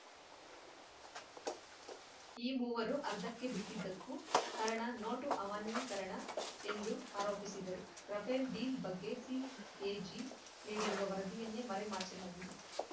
ಈ ಮೂವರು ಅರ್ಧಕ್ಕೆ ಬಿಟ್ಟಿದ್ದಕ್ಕೂ ಕಾರಣ ನೋಟು ಅವಾನ್ಯೀಕರಣ ಎಂದು ಆರೋಪಿಸಿದರು ರಫೇಲ್‌ ಡೀಲ್‌ ಬಗ್ಗೆ ಸಿಎಜಿ ನೀಡಿರುವ ವರದಿಯನ್ನೇ ಮರೆಮಾಚಲಾಗಿದೆ